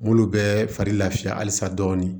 M'olu bɛɛ fari lafiya halisa dɔɔni